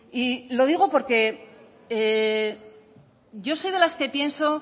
y lo digo porque yo soy de las que pienso